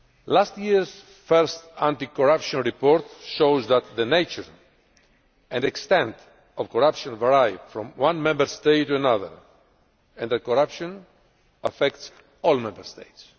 Last year's first anti corruption report shows that the nature and extent of corruption varied from one Member State to another, and that corruption affects all Member States.